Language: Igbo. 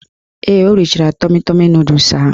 Ee, o richara tọmi tọmi nọdụs ahụ.